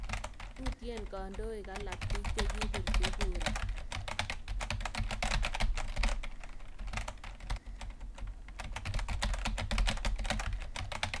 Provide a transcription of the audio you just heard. Utyeen kandoik alak piik chekipirchi kura